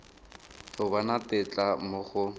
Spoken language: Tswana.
go bona tetla mo go